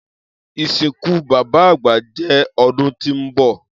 Isinku baba agba jẹ ọdun ti nbọ.